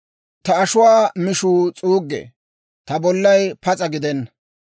Ta ashuwaa mishuu s'uuggee; ta bollay pas'a gidena.